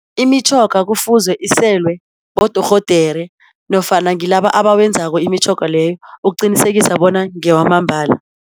Imitjhoga kufuzwe iselwe bodorhodere nofana ngilaba abawenzako imitjhoga leyo ukuqinisekisa bona ngewamambala.